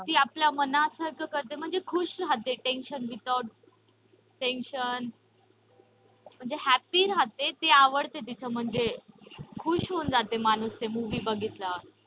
ती आपल्या मनात करते म्हणजे खुश रहाते म्हणजे tension without tension म्हणजे happy रहाते ते आवडते तीच म्हणजे खुश होऊन माणूस ते movie बघितल्यावर.